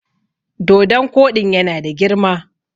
dodon Koɗin yana da girma!